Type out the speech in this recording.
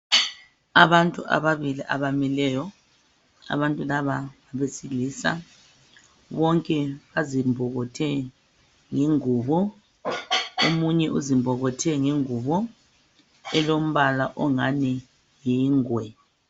Abantu ababili abamileyo , abantu laba ngabesilisa bonke bazimbokothe yingubo. Omunye uzimbokothe ngengubo elombala ongani yingwe.